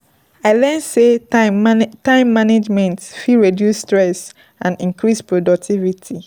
I learn sey time time management fit reduce stress and increase productivity.